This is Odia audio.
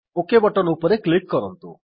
ଓକ୍ ବଟନ୍ ଉପରେ କ୍ଲିକ୍ କରନ୍ତୁ